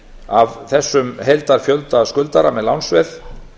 af þessum heildarfjölda skuldara með lánsveð